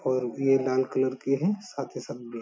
और भी ये लाल कलर के हैं साथ ही साथ ब्ल --